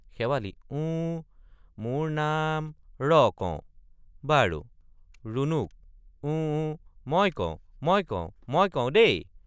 শেৱালি—ওঁ—মোৰ—নাম—ৰ—কওঁ—বাৰু— ৰুণুক—ওঁ—ওঁ—মই কওঁ—মই কওঁ—মই কওঁ—দেই।